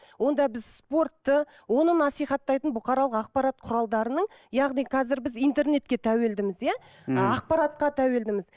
онда біз спортты оны насихаттайтын бұқаралық ақпарат құралдарының яғни қазір біз интернетке тәуелдіміз иә ммм ақпаратқа тәуелдіміз